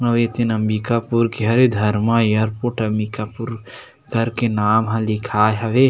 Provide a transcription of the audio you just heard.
अउ ए तेन अम्बिकापुर के हरे धर्मा एयरपोर्ट अम्बिकापुर कर के नाम ह लिखाय हवे।